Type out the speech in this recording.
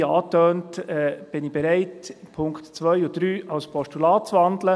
Wie angetönt bin ich bereit, Punkt 2 und 3 in ein Postulat zu wandeln.